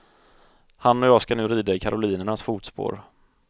Han och jag ska nu rida i karolinernas fotspår.